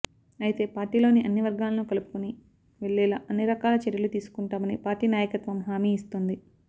అయితే పార్టీలోని అన్ని వర్గాలను కలుపుకొని వెళ్ళేలా అన్ని రకాల చర్యలు తీసుకొంటామని పార్టీ నాయకత్వం హమీ ఇస్తోంది